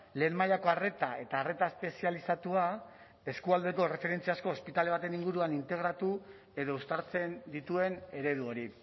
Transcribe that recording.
lehen mailako arreta eta arreta espezializatua eskualdeko erreferentziazko ospitale baten inguruan integratu edo uztartzen dituen eredu hori